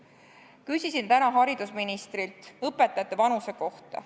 Küsisin täna haridusministrilt õpetajate vanuse kohta.